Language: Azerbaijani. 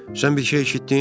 Sən bir şey eşitdin?